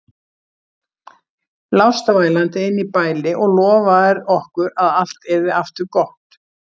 Lást vælandi inni í bæli og lofaðir okkur að allt yrði aftur gott.